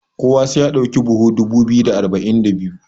kowa sai ya dauki buhu dubu biyu da arba'in da biyu?